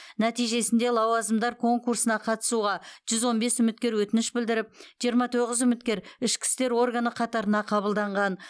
нәтижесінде лауазымдар конкурсына қатысуға жүз он бес үміткер өтініш білдіріп жиырма тоғыз үміткер ішкі істер органы қатарына қабылданған